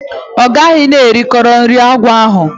O gaghi na eriwori anu akwo ahu.